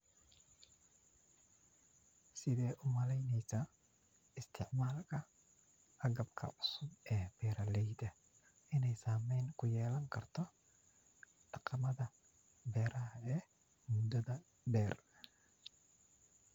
Sithe umaleneysa isticmalka hagabka cusub ee beeraleydha iney saameyn kuyeelan karto dhaqamadha beeraha ee mudhadha dheer